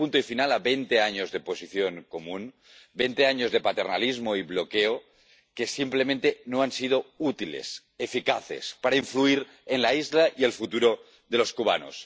Pone punto final a veinte años de Posición Común, veinte años de paternalismo y bloqueo, que simplemente no han sido útiles, eficaces, para influir en la isla y el futuro de los cubanos.